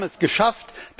Die haben es geschafft.